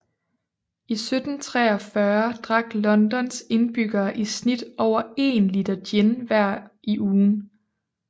I 1743 drak Londons indbyggere i snit over én liter gin hver i ugen